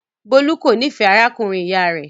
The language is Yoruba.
Bólú kò nífẹ̀ẹ́ arákùnrin-ìyá rẹ̀.